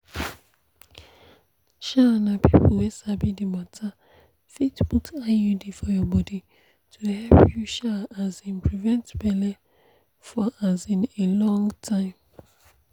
um na people wey sabi the matter fit put iud for your body to help you um um prevent belle for um a long time.